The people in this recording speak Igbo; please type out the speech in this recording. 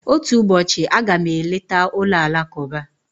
Otu ụbọchị, a ga m eleta ụlọ alakụba.